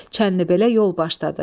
Çəndi belə yol başladı.